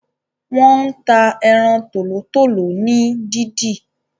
wón tá Eran Tòlótòló ní dìdì.